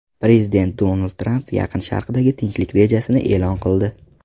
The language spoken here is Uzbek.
Prezident Donald Tramp Yaqin Sharqdagi tinchlik rejasini e’lon qildi.